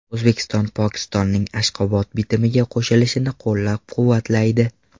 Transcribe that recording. O‘zbekiston Pokistonning Ashxobod bitimiga qo‘shilishini qo‘llab-quvvatlaydi.